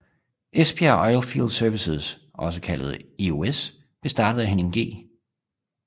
Esbjerg Oilfield Services også kaldet EOS blev startet af Henning G